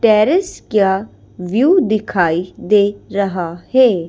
Terrace क्या view दिखाई दे रहा है।